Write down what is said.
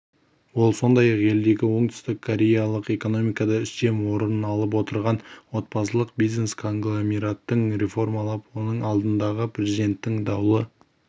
ол сондай-ақ елдегі оңтүстік кореялық экономикада үстем орын алып отырған отбасылық бизнес-конгломераттарды реформалап оның алдындағы президенттің даулы